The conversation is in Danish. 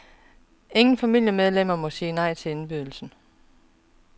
Ingen familiemedlemmer må sige nej til indbydelsen.